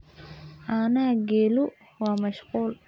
Caanaha geelu waa mashquul.